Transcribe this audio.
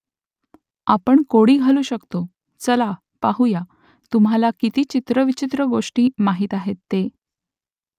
आपण कोडी घालू शकतो चला पाहुया तुम्हाला किती चित्रविचित्र गोष्टी माहीत आहेत ते